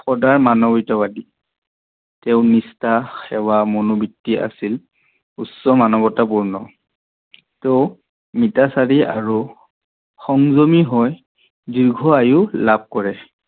সদায় মানৱীয়তাবাদী। তেও নিষ্ঠা, সেৱা, মনোবিত্তি আছিল উচ্চ মানৱতাপূৰ্ণ। তেও নিতাচাৰী আৰু সংযমী হৈ দীৰ্ঘ আয়োস লাভ কৰে।